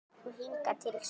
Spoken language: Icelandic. Og hingað til sú eina.